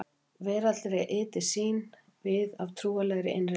Veraldleg ytri sýn tók við af trúarlegri innri leit.